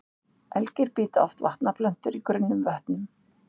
Elgir bíta oft vatnaplöntur í grunnum vötnum.